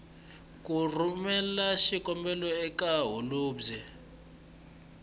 ku rhumela xikombelo eka holobye